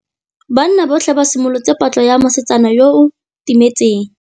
Banna botlhê ba simolotse patlô ya mosetsana yo o timetseng.